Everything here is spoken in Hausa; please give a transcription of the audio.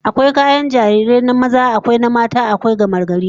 Akwai kayan jarirai na maza, akwai na mata, akwai na gamagari